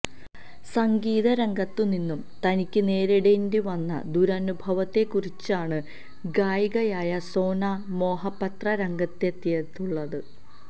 സംഗീത രംഗത്തുനിന്നും തനിക്ക് നേരിടേണ്ടി വന്ന ദുരനുഭവത്തെക്കുറിച്ചാണ് ഗായികയായ സോന മൊഹപത്ര രംഗത്തെത്തിയിട്ടുള്ളത്